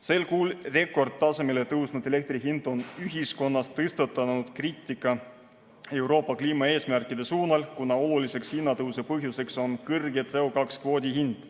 Sel kuul rekordtasemele tõusnud elektri hind on ühiskonnas tekitanud kriitikat Euroopa kliimaeesmärkide suunal, kuna oluliseks hinnatõusu põhjuseks on kõrge CO2 kvoodi hind.